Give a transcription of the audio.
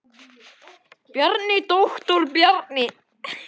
Bjarni, doktor Bjarni.